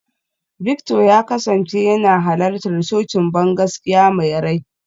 Victor ya kasance yana halartar cocin bangaskiya mai rai.